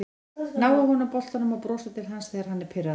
Ná af honum boltann og brosa til hans þegar hann er pirraður